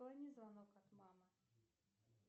отклони звонок от мамы